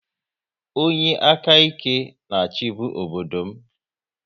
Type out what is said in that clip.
Onye aka ike na-achibu obodo m